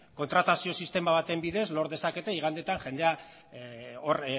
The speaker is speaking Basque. kontratazio sistema baten bidez lor dezakete igandetan jendea hor